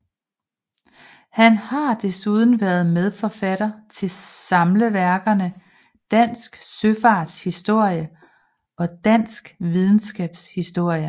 Han har desuden været medforfatter til samleværkerne Dansk Søfarts Historie og Dansk Videnskabs Historie